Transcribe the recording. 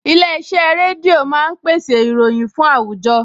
Ilé-iṣẹ́ rédíò máa ń pèsè ìròyìn fún àwùjọ